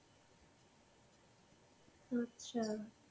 আচ্ছা.